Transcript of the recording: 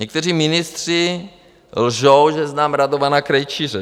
Někteří ministři lžou, že znám Radovana Krejčíře.